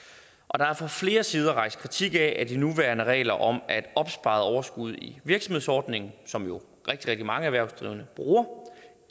er fra flere sider rejst kritik af at de nuværende regler om at opsparet overskud i virksomhedsordningen som jo rigtig rigtig mange erhvervsdrivende bruger